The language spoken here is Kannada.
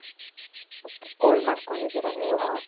ok. ಕೋಲ್ ಮಾಡ್ಕೊಂಡಿದೀರ ನೀವು?